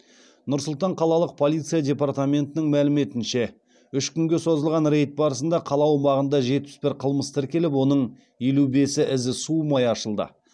нұр сұлтан қалалық полиция департаментінің мәліметінше үш күнге созылған рейд барысында қала аумағында жетпіс бір қылмыс тіркеліп оның елу бесі ізі суымай ашылды